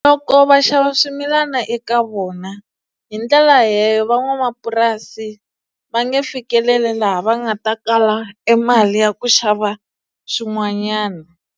Loko va xava swimilana eka vona hi ndlela leyo van'wamapurasi va nge fikeleli laha va nga ta kala e mali ya ku xava swin'wanyani.